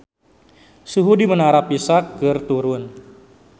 Suhu di Menara Pisa keur turun